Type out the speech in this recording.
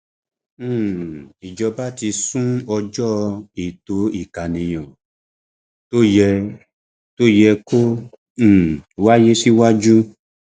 um ìjọba ti sún ọjọ ètò ìkànìyàn tó yẹ tó yẹ kó um wáyé síwájú